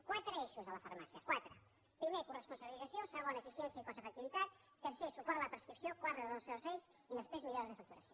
quatre eixos a la farmàcia quatre primer coresponsabilització segon eficiència i cost efectivitat tercer suport a la prescripció quart reordenació de serveis i després millores de facturació